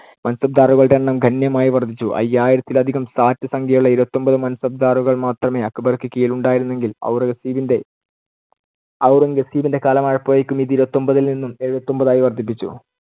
മാൻസബ്ദാറുകളുടെ എണ്ണം ഗണ്യമായി വർദ്ധിച്ചു. അയ്യായിരത്തിലധികം സാറ്റ് സംഖ്യയുള്ള ഇരുപത്തിയൊൻപത് മാൻസബ്ദാറുകൾ മാത്രമേ അക്ബർക്കു കീഴിലുണ്ടായിരുന്നെങ്കിൽ ഔറംഗസേബിന്‍ടെ~ ഔറംഗസേബിന്‍ടെ കാലമായപ്പോഴേക്കും ഇത് ഇരുപത്തിയൊൻപത്തിൽനിന്നും എഴുപത്തിയൊൻപതായി വർദ്ധിപ്പിച്ചു.